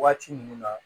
Waati mun na